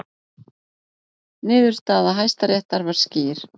Niðurstaða Hæstaréttar var skýr